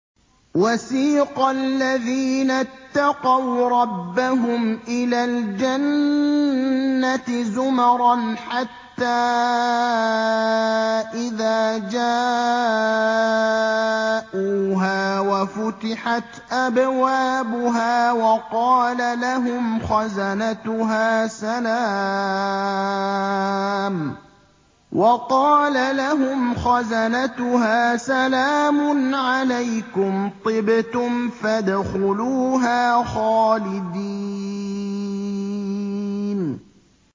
وَسِيقَ الَّذِينَ اتَّقَوْا رَبَّهُمْ إِلَى الْجَنَّةِ زُمَرًا ۖ حَتَّىٰ إِذَا جَاءُوهَا وَفُتِحَتْ أَبْوَابُهَا وَقَالَ لَهُمْ خَزَنَتُهَا سَلَامٌ عَلَيْكُمْ طِبْتُمْ فَادْخُلُوهَا خَالِدِينَ